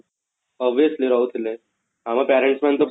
obviously ରହୁଥିଲେ ଆମ parents ମାନେ ତ ସବୁ